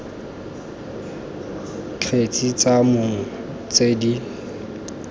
kgetse tsa mong tse di